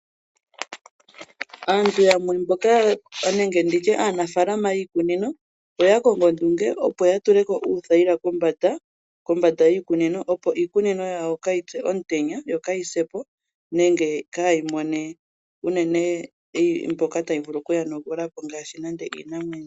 Aantu yamwe mboka nenge aanafaalama yiikunino, oya kongo ondunge opo ya tule uuthayila kombanda yiikunino, opo iikunino yawo ka yi pye komutenya, yoka yi se po , nenge ka yi mone unene mbyoka tayi vulu oku yi yonagula po ngaashi iinamwenyo.